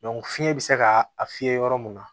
fiɲɛ bɛ se ka a fiyɛ yɔrɔ mun na